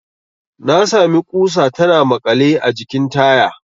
Na sami ƙusa tana makale a jikin taya.